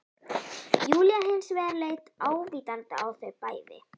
Júlía hins vegar leit ávítandi á þau bæði